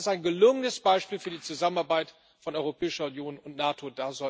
Das ist ein gelungenes Beispiel für die Zusammenarbeit von Europäischer Union und NATO.